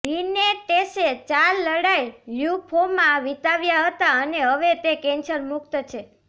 લિનેટેસે ચાર લડાઈ લ્યુમ્ફોમા વિતાવ્યા હતા અને હવે તે કેન્સર મુક્ત છે